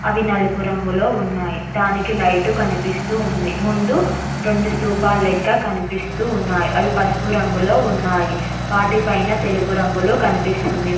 ఇవి నలుపు రంగులో ఉన్నాయి దానికి లైటు కనిపిస్తూ ఉంది ముందు రెండు స్తుపాలెక్క కనిపిస్తు ఉన్నాయి అవి పసుపు రంగులో ఉన్నాయి వాటి పైన తెలుపు రంగులో కనిపిస్తుంది.